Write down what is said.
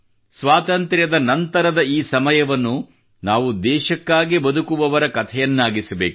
ಸ್ವಾತಂತ್ರ್ಯ ನಂತರದ ಈ ಸಮಯವನ್ನು ನಾವು ದೇಶಕ್ಕಾಗಿ ಬದುಕುವವರ ಕಥೆಯನ್ನಾಗಿಸಬೇಕು